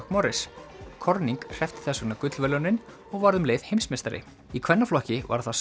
McMorris corning hreppti þess vegna gullverðlaunin og varð um leið heimsmeistari í kvennaflokki var það